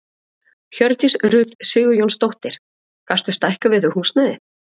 Hjördís Rut Sigurjónsdóttir: Gastu stækkað við þig húsnæði?